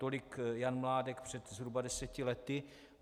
Tolik Jan Mládek před zhruba deseti lety.